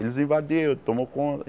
Eles invadiram, tomou